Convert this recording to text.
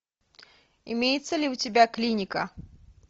имеется ли у тебя клиника